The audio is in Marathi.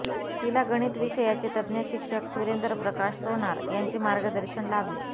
तिला गणित विषयाचे तज्ज्ञ शिक्षक सुरेंद्र प्रकाश सोनार यांचे मार्गदर्शन लाभले